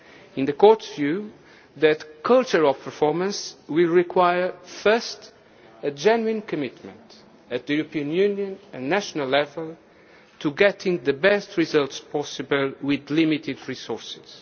In the Court's view, that culture of performance will require first a genuine commitment at European Union and national level to getting the best results possible with limited resources